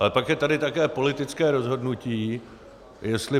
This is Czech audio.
Ale pak je tady také politické rozhodnutí, jestli